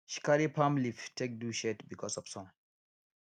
she carry palm leaf take do shade because of sun